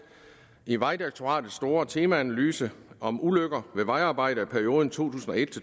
i vejdirektoratets store temaanalyse om ulykker ved vejarbejde i perioden to